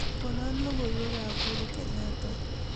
konon logoiwek ab uhuru kenyetta